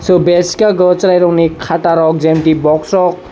bench o cherai rokni khata rok geometry box rok.